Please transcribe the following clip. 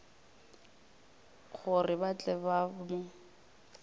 gore ba tle ba mo